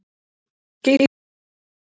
Skýrt svar!